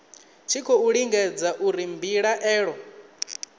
tshi khou lingedza uri mbilaelo